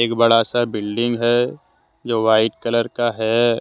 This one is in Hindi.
ये बड़ा सा बिल्डिंग है जो वाइट कलर का है ।